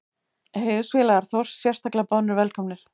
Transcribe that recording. Heiðursfélagar Þórs sérstaklega boðnir velkomnir.